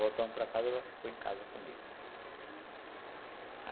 Voltamos para casa e ela ficou em casa comigo.